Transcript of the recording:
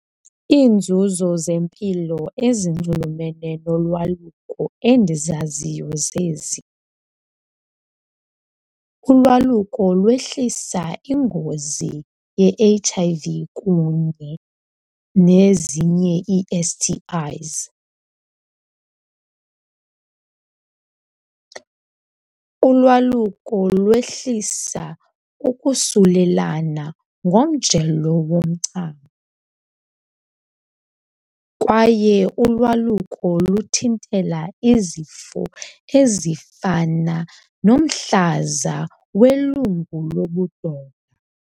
Iinzuzo zempilo ezinxulumene nolwaluko endizaziyo zezi. Ulwaluko lwehlisa iingozi ye-H_I_V kunye nezinye ii-S_T_Is. Ulwaluko lwehlisa ukusulelana ngomjelo womchamo kwaye ulwaluko lokuthintela izifo ezifana nomhlaza welungu lobudoda.